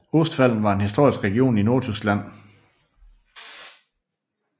Ostfalen var en historisk region i Nordtyskland